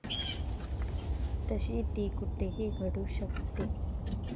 तशी ती कुठेही घडू शकते.